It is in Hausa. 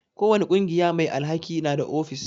Ko wani ƙungiya mai alhaki na da ofis.